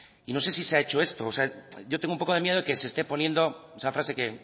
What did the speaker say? y no sé si se ha hecho esto o sea yo tengo un poco de miedo de que se esté poniendo esa frase que